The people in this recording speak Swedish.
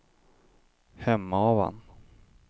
Hemavan